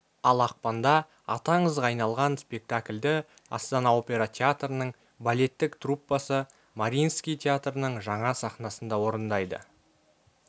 ал ақпанда аты аңызға айналған спектакльді астана опера театрының балеттік труппасы мариинский театрының жаңа сахнасында орындайды